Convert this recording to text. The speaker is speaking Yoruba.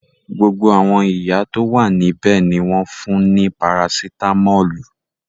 Gbogbo àwọn ìyá tó wà níbẹ̀ ni wọ́n fún ní parasitámọ́lù.